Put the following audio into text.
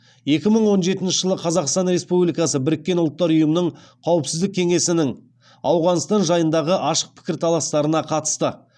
екі мың он жетінші жылы қазақстан республикасы біріккен ұлттар ұйымының қауіпсіздік кеңесінің ауғанстан жайындағы ашық пікірталастарына қатысты